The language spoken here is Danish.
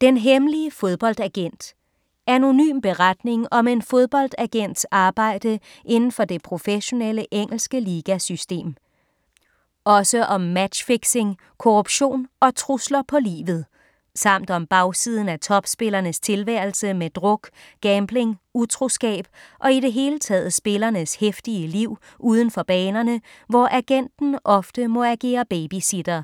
Den hemmelige fodboldagent Anonym beretning om en fodboldagents arbejde indenfor det professionelle engelske ligasystem. Også om matchfixing, korruption og trusler på livet. Samt om bagsiden af topspillernes tilværelse med druk, gambling, utroskab og i det hele taget spillernes heftige liv udenfor banerne, hvor agenten ofte må agere babysitter.